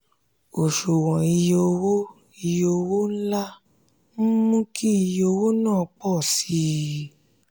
òṣùwọ̀n iye owó iye owó ńlá ń mú kí iye owó náà pọ̀ sí i.